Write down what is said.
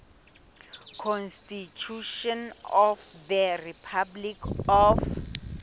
constitution of the republic of